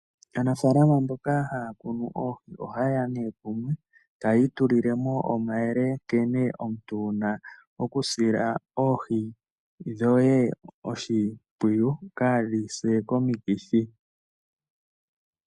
Aanafalama mboka haya kunu oohi ohayeya kumwe tayi tulilemo omayele nkene omuntu wuna okusila oohi dhoye oshimpwiyu kadhi se komikithi.